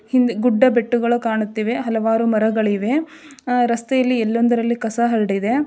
ಹಿಂದ ಗುಡ್ಡಬೆಟ್ಟಗಳು ಕಾಣುತ್ತಿವೆ ಹಲವಾರು ಮರಗಳಿವೆ ಅಹ್ ರಸ್ತೆಯಲ್ಲಿ ಎಲ್ಲಂದರಲ್ಲಿ ಕಸ ಹರಡಿದೆ.